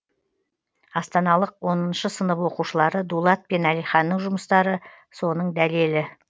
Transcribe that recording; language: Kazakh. астаналық оныншы сынып оқушылары дулат пен әлиханның жұмыстары соның дәлелі